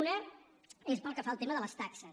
una és pel que fa al tema de les taxes